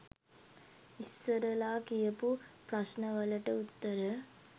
ඉස්සරලා කියපු ප්‍රශ්න වලට උත්තර